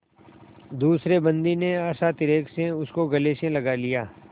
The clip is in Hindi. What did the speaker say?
दूसरे बंदी ने हर्षातिरेक से उसको गले से लगा लिया